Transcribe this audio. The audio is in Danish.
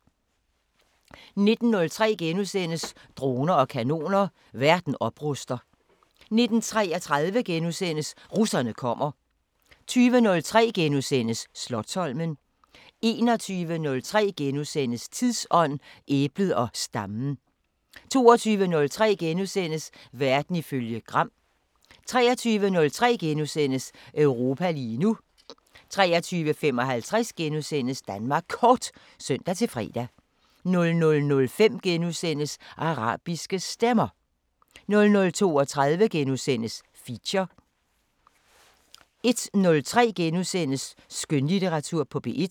19:03: Droner og kanoner: Verden opruster * 19:33: Russerne kommer * 20:03: Slotsholmen * 21:03: Tidsånd: Æblet og stammen * 22:03: Verden ifølge Gram * 23:03: Europa lige nu * 23:55: Danmark Kort *(søn-fre) 00:05: Arabiske Stemmer * 00:32: Feature * 01:03: Skønlitteratur på P1 *